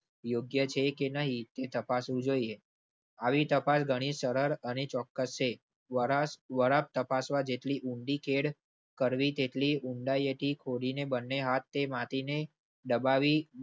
યોગ્ય છે કે નહીં તે તપાસવું જોઈએ. આવી તપાસ ગણી સરળ અને ચોક્કસ એ તપાસવા જેટલી ઊંધી ખેડ કરવી તેટલી ઊંડાયે થી ખોદી બંને હાથથી માટી ને દબાવી.